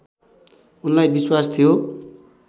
उनलाई विश्वास थियो